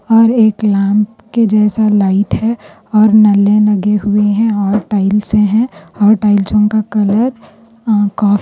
اور ایک لامپ کے جیسا لائٹ ہے اور نلّے لگے ہوئے ہیں اور ٹائلزے ہیں اور ٹائلزو کا کلر اَ کا--